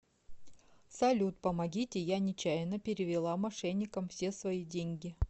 салют помогите я нечаянно перевела мошенникам все свои деньги